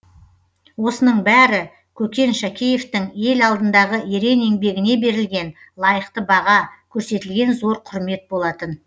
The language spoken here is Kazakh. осының бәрі көкен шәкеевтің ел алдындағы ерен еңбегіне берілген лайықты баға көрсетілген зор құрмет болатын